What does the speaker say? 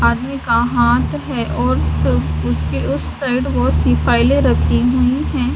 आदमी का हाथ है और उसके उस साइड बहोत सी फाइलें रखी हुई हैं।